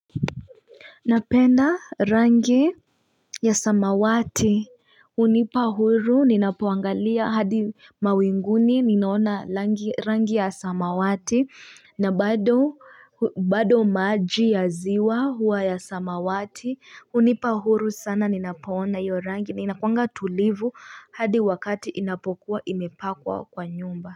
Napenda rangi ya samawati unipa huru ninapoangalia hadi mawinguni ninaona rangi ya samawati na bado bado maji ya ziwa huwa ya samawati unipa huru sana ninapoona yorangi na inakuanga tulivu hadi wakati inapokuwa imepakwa kwa nyumba.